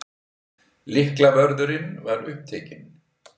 Lyklavörðurinn var upptekinn.